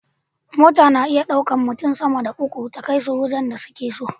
Mota na iya ɗaukan mutun sama da uku ta kai su wajan da suke so